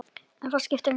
En það skiptir engu.